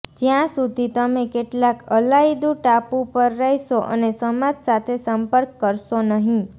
જ્યાં સુધી તમે કેટલાક અલાયદું ટાપુ પર રહેશો અને સમાજ સાથે સંપર્ક કરશો નહીં